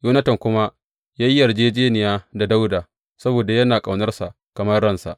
Yonatan kuma ya yi yarjejjeniya da Dawuda saboda yana ƙaunarsa kamar ransa.